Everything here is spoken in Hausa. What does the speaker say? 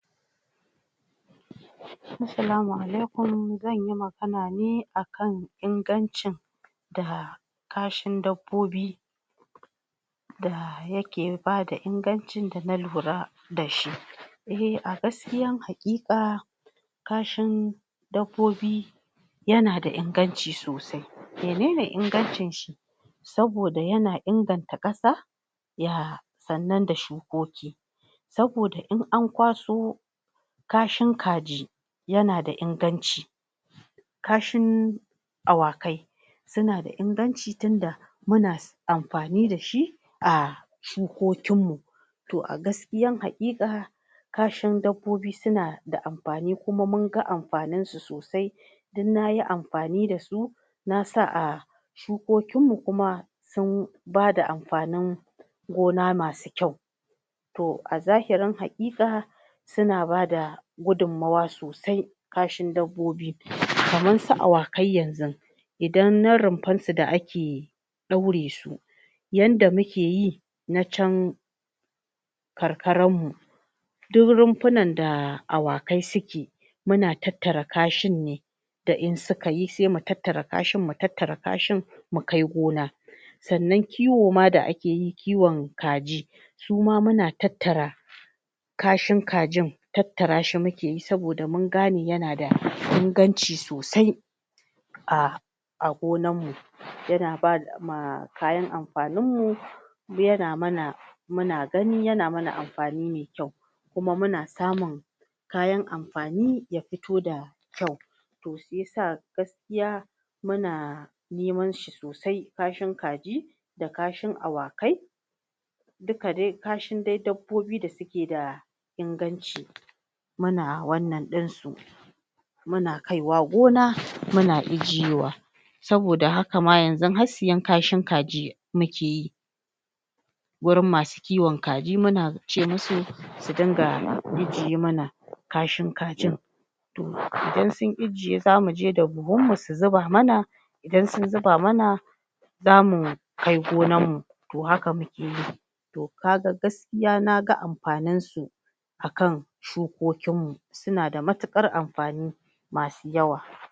asalamu alaikum zanyi magana ne akan ingancin da kashin dabbobi da yake bada ingancin da na nuna lura da shi eh a gaskiyan haƙika kashin dabbobi yana da inganci sosai mene ne ingancin shi saboda yana inganta kasa ya sannan da shukoki saboda in ankwaso kashin kaji yana da inganci kashin awakai suna da inganci tunda muna amfani da shi a shukokin mu to a gaskiyan haƙika kashin dabbobi suna da amfani kuma munga amfanin su sosai don nayi amfani dasu nasa a shukokin mu sun bada amfanin gona masu kyau a zahirin haƙiƙa suna bada gudummawa sosai kashin dabbobi kamar su awa kai yanzun idan na rumfar su da ake daure su yanda mukeyi na can karkaran mu duk rumfunan da awakai suke muna tattara kashin ne da in suka yisai mutattara kashin mutattara kashin mukai gona sannan kiwo ma da akeyi kiwon kaji suma muna tattara kashin kajin tattara shi mukeyi saboda mungane yana da inganci sosai a a gonan mu yana bama kayan amfanin mu yana mana muna gani yana mana amfani maikyau kuma muna samun kayan amfani ya fito da kyau to shiyasa gaskiya muna neman shi sosai kashin kaji da kashin awakai duka dai kashin dabbobi da suke da inganci muna wannan dinsu muna kai wa gona muna ijiyewa saboda haka ma har sayan kashin kaji mukeyi gurin masu kiwon kaji muna ce musu su dinga ijiye mana kashin kajin indan sun ijiye zamu je da buhun mu su zuba mana idan sun zuba mana zamu kai gonan mu to haka mukeyi to kaga na ga amfanin su akan shukokin mu suna da matukar amfani masu yawa